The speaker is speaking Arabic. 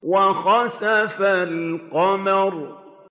وَخَسَفَ الْقَمَرُ